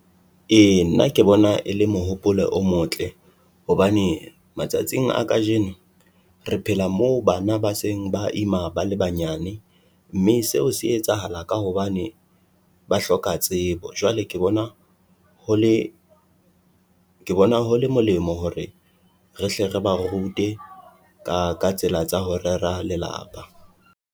E, na ke bona e le mohopolo o motle hobane matsatsing a kajeno re phela moo bana ba seng ba ima, bana ba nyane mme seo se etsahala ka hobane ba hloka tsebo. Jwale ke bona Ho le molemo hore rehle re ba rute ka ka tsela tsa ho rera lelapa.